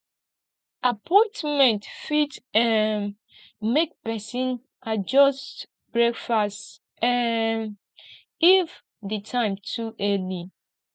appointment fit um make pesin adjust breakfast um if di time too early